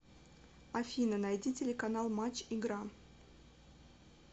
афина найди телеканал матч игра